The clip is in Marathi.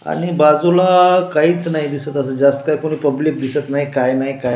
आणि बाजूला काहीच नाही दिसत जास्त काय कोणी पब्लिक दिसत नाही काय नाही.